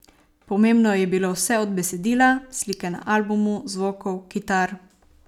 Pomembno je bilo vse od besedila, slike na albumu, zvokov, kitar ...